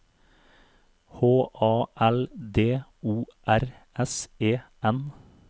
H A L D O R S E N